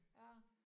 Ja